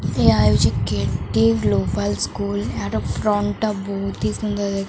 ଏହା ହେଉଛି K T M global school ଏହାର ଫ୍ରଣ୍ଟ ଟା ବହୁତ୍ ହି ସୁନ୍ଦର୍ ଦେଖା।